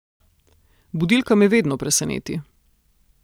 Budilka me vedno preseneti.